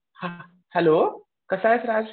Hello कसा आहेस राज?